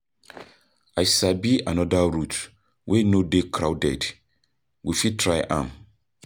I sabi another route wey no dey crowded, we fit try am.